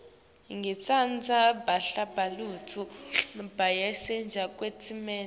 ngitsandza bahlabeleli bangesheya kwetilwandle